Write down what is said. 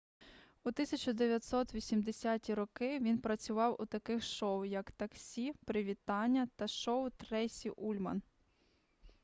у 1980-ті роки він працював у таких шоу як таксі привітання та шоу трейсі ульман